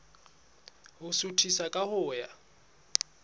ho suthisa ka ho ya